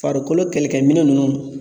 Farikolo kɛlɛkɛminɛn ninnu